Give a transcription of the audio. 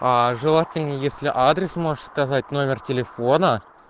желательно если адрес можешь сказать номер телефона